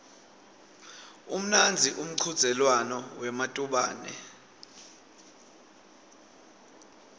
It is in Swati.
umnandzi umchudzelwano wematubane